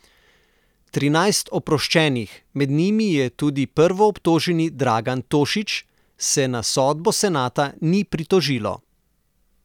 Trinajst oproščenih, med njimi je tudi prvoobtoženi Dragan Tošić, se na sodbo senata ni pritožilo.